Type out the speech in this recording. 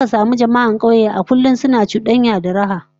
Zaka samu jama'a a dandalin kauyuka kullum suna cudanya da raha